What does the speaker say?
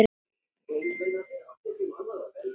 Þeir eru ekkert svo slæmir.